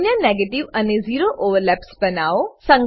અન્ય નેગેટિવ અને zero overlaps બનાવો